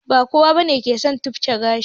Ba kowa bane yake son tufke gashi